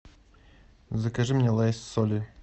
закажи мне лейс с солью